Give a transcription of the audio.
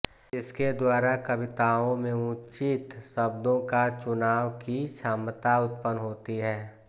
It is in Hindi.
इसके द्वारा कविताओं में उचित शब्दों का चुनाव की क्षमता उत्पन्न होती है